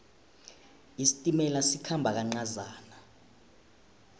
isitimela sikhamba kancazana